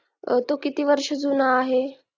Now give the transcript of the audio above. तो किती वर्ष जुना आहे